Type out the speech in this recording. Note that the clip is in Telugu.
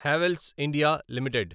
Havells India limited